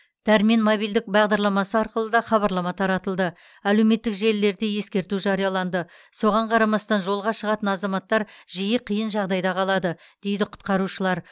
дәрмен мобильдік бағдарламасы арқылы да хабарлама таратылды әлеуметтік желілерде ескерту жарияланды соған қарамастан жолға шығатын азаматтар жиі қиын жағдайда қалады дейді құтқарушылар